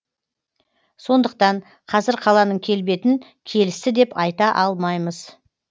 сондықтан қазір қаланың келбетін келісті деп айта алмаймыз